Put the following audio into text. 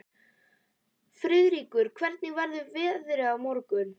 Friðríkur, hvernig verður veðrið á morgun?